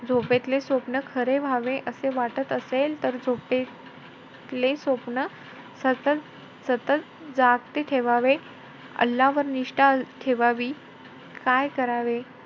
झोपेतले स्वप्न खरे व्हावे असे वाटत असेल तर झोपेतले स्वप्न सतत-सतत जागते ठेवावे. अल्लावर निष्ठा ठेवावी. काय करावे,